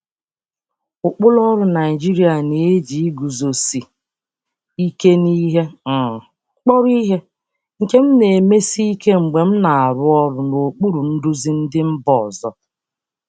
Ụkpụrụ ọrụ Naịjirịa na-eji iguzosi ike n'ihe kpọrọ ihe, nke m na-emesi ike m na-emesi ike mgbe m na-arụ ọrụ n'okpuru ndu si mba ọzọ.